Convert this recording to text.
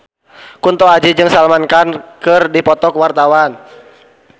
Kunto Aji jeung Salman Khan keur dipoto ku wartawan